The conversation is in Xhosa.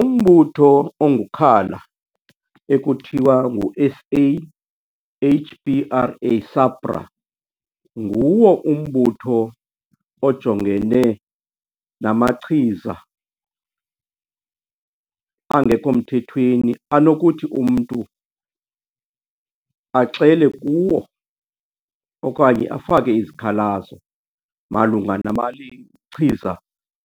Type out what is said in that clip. Umbutho ongukhala ekuthiwa ngu-S A H P R A, SAPRA, nguwo umbutho ojongene namachiza angekho mthethweni anokuthi umntu axele kuwo okanye afake izikhalazo malunga chiza